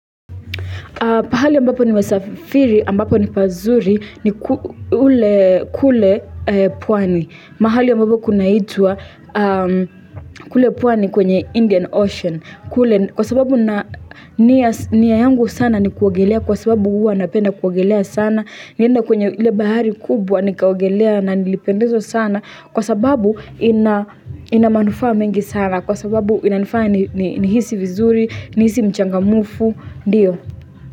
Pahali ambapo nimesafiri, ambapo ni pazuri, ni ule kule pwani. Mahali ambapo kunaitwa kule pwani kwenye Indian Ocean. Kwa sababu niya yangu sana ni kuogelea, kwa sababu huwa napenda kuogelea sana, niende kwenye ile bahari kubwa nikaogelea na nilipendezwa sana, kwa sababu ina manufaa mingi sana, kwa sababu inanifanya nihisi vizuri, nihisi mchangamufu, ndiyo.